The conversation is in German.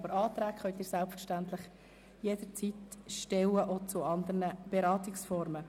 Aber Anträge können Sie selbstverständlich jederzeit stellen, auch zu anderen Beratungsformen.